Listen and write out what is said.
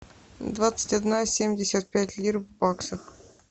двадцать одна семьдесят пять лир в баксах